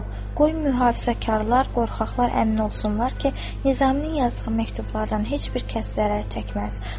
Qoy mühafizəkarlar, qorxaqlar əmin olsunlar ki, Nizaminin yazdığı məktublardan heç bir kəs zərər çəkməz.